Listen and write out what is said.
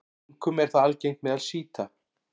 Einkum er það algengt meðal sjíta.